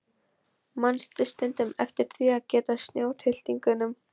Manstu stundum eftir því að gefa snjótittlingunum?